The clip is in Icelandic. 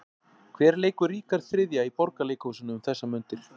Hver leikur Ríkharð þriðja í Borgarleikhúsinu um þessar mundir?